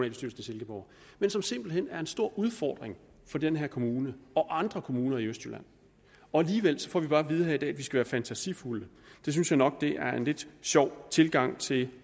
i silkeborg men som simpelt hen er en stor udfordring for den her kommune og andre kommuner i østjylland og alligevel får vi bare at vide her i dag at vi skal være fantasifulde det synes jeg nok er en lidt sjov tilgang til